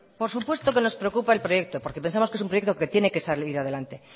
por supuesto que nos preocupa el proyecto porque pensamos que es un proyecto que tiene que salir adelante